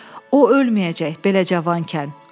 O ölməyəcək belə cavankən.